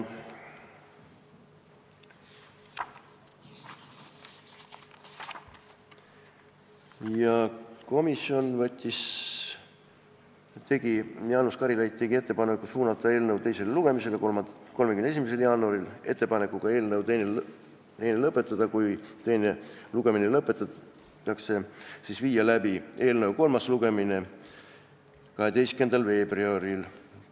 Jaanus Karilaid tegi ettepanku suunata eelnõu teisele lugemisele 31. jaanuariks ettepanekuga eelnõu teine lugemine lõpetada ja kui teine lugemine lõpetatakse, siis viia läbi eelnõu kolmas lugemine 12. veebruaril.